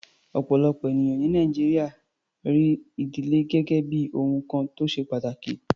Ọ̀pọ̀lọpọ̀ ènìyàn ní Nàìjíríà rí ìdílé gẹ́gẹ́ bí ohun kan tó ṣe pàtàkì.